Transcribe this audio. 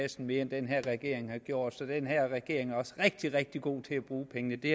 kassen mere end den her regering har gjort så den her regering er også rigtig rigtig god til at bruge pengene det